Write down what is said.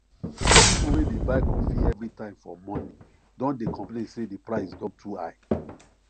people wey dey buy coffee everytime for morning don dey complain say the price don too high